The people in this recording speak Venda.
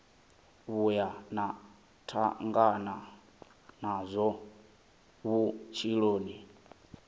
vhuya na tangana nazwo vhutshiloni